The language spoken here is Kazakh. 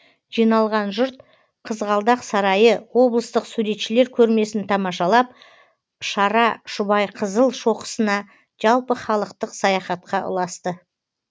жиналған жұрт қызғалдақ сарайы облыстық суретшілер көрмесін тамашалап шара шұбайқызыл шоқысына жалпыхалықтық саяхатқа ұласты